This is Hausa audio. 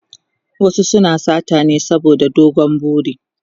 wasu suna sata ne saboda dogon buri